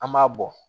An b'a bɔ